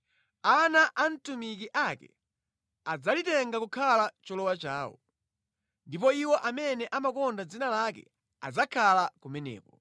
ana atumiki ake adzalitenga kukhala cholowa chawo, ndipo iwo amene amakonda dzina lake adzakhala kumeneko.